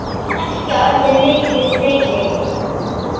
Hvað merkja orðin miklu fleiri?